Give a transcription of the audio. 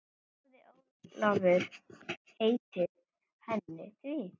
Hafði Ólafur heitið henni því.